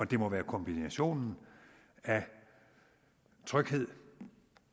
det må være kombinationen af tryghed